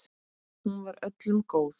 Hún var öllum góð.